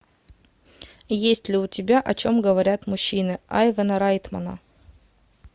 есть ли у тебя о чем говорят мужчины айвана райтмана